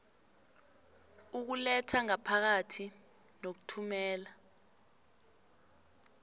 ukuletha ngaphakathi nokuthumela